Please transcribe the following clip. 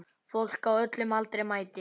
Fólk á öllum aldri mætir.